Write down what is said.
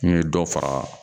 N ye dɔ fara